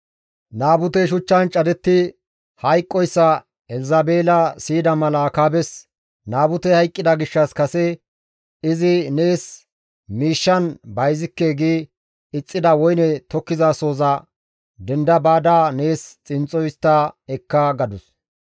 Naabutey shuchchan cadetti hayqqoyssa Elzabeela siyida mala Akaabes, «Naabutey hayqqida gishshas kase izi, ‹Nees miishshan bayzikke› gi ixxida woyne tokkizasohoza denda baada nees xinxxo histta ekka» gadus.